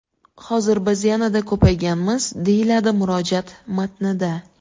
Hozir biz yanada ko‘payganmiz”, deyiladi murojaat matnida.